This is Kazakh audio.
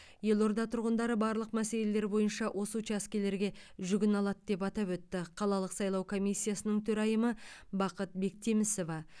елорда тұрғындары барлық мәселелер бойынша осы учаскелерге жүгіне алады деп атап өтті қалалық сайлау комиссиясының төрайымы бақыт бектемісова